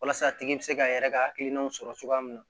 Walasa a tigi bɛ se k'a yɛrɛ ka hakilinaw sɔrɔ cogoya min na